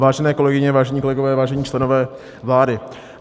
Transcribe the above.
Vážené kolegyně, vážení kolegové, vážení členové vlády.